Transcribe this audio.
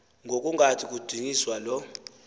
ngokungathi kudunyiswa lo